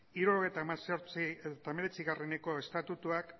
hirurogeita hemeretzieko estatutuak